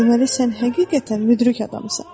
deməli sən həqiqətən müdrik adamsan.